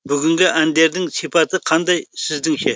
бүгінгі әндердің сипаты қандай сіздіңше